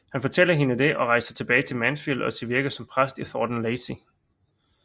Han fortæller hende det og rejser tilbage til Mansfield og sit virke som præst i Thornton Lacey